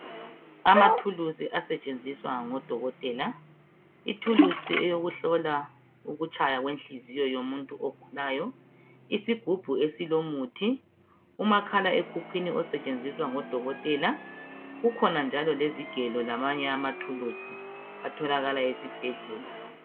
Amathulusj asetshenziswa ngodokotela, ithulusi eyokuhlola ukutshaya kwenhliziyo yomuntu ogulayo, isigubhu esilomuthi, umakhala ekhukhwini osetshenziswa ngodokotela, kukhona njalo lezigelo lamanye amathulusi atholakala ezibhedlela